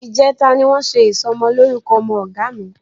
Ìjẹta ni wọ́n ṣe ìsọmọlórúkọ ọmọ Ọ̀gá mi